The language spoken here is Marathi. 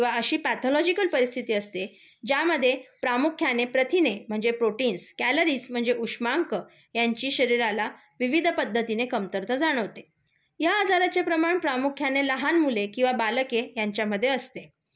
किंवा अशी प्याथोलोजिकल परिस्थिति असते ज्यामध्ये प्रामुख्याने प्रथिने म्हणजे प्रोटीनस, क्यालरीज म्हणजे उष्मांक यांची शरीराला विविध पध्दतीने कमतरता जाणवते. या आजारचे प्रमाण प्रामुख्याने लहान मुले किंवा बालके यांच्यामध्ये असते.